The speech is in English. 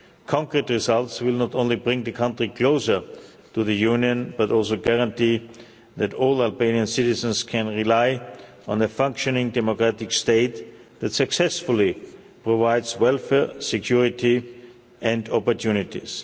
Concrete results will not only bring the country closer to the Union but also guarantee that all Albanian citizens can rely on a functioning democratic state that successfully provides welfare, security and opportunities.